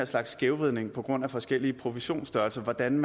slags skævvridning på grund af forskellige provisionsstørrelser hvordan